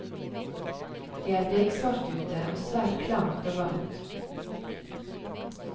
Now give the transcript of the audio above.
Det er beksvart ute og svært klamt og varmt.